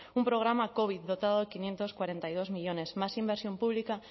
un programa covid dotado de quinientos cuarenta y dos millónes más inversión pública